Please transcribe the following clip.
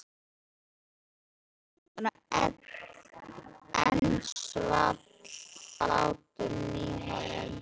sagði Kjartan og enn svall hláturinn í honum.